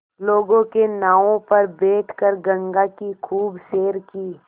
लोगों के नावों पर बैठ कर गंगा की खूब सैर की